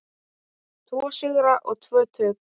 Tvo sigra og tvö töp.